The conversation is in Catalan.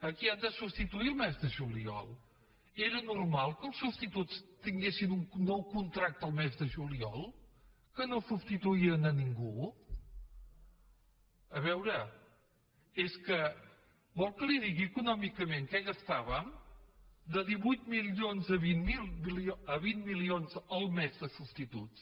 qui han de substituir el mes de juliol era normal que els substituts tinguessin un nou contracte el mes de juliol que no substituïen ningú a veure és que vol que li digui econòmicament què gastàvem de divuit milions a vint milions el mes de substituts